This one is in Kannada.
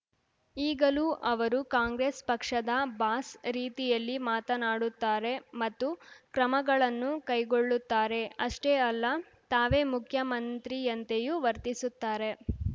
ಈಗಲೂ ಅವರು ಕಾಂಗ್ರೆಸ್‌ ಪಕ್ಷದ ಬಾಸ್‌ ರೀತಿಯಲ್ಲಿ ಮಾತನಾಡುತ್ತಾರೆ ಮತ್ತು ಕ್ರಮಗಳನ್ನು ಕೈಗೊಳ್ಳುತ್ತಾರೆ ಅಷ್ಟೇ ಅಲ್ಲ ತಾವೇ ಮುಖ್ಯಮಂತ್ರಿಯಂತೆಯೂ ವರ್ತಿಸುತ್ತಾರೆ